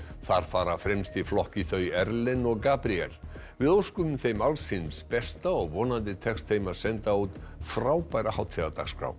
þar fara fremst í flokki þau Erlen og Gabríel við óskum þeim alls hins besta og vonandi tekst þeim að senda út frábæra hátíðardagskrá